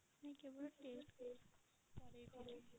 ନାଇଁ କେବଳ test କରେଇଥିଲି।